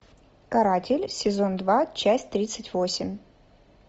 каратель сезон два часть тридцать восемь